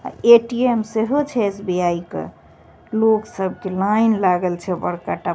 अ ATM. सेहो छे SBI. का लोग सब के लाइन लागल छे बड़का टा।